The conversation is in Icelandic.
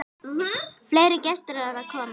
Fleiri gestir eru að koma.